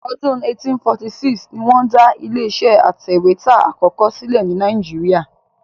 Ọdún 1846 ni wọ́n dá ilé-iṣẹ́ atẹ̀wétà àkọ́kọ́ sílẹ̀ ní Nàíjíríà.